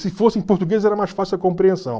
Se fosse em português era mais fácil a compreensão.